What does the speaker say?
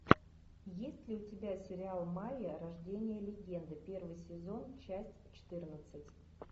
есть ли у тебя сериал майя рождение легенды первый сезон часть четырнадцать